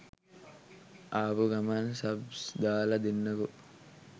ආපු ගමන් සබ්ස් දාලා දෙන්නකෝ